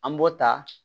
An b'o ta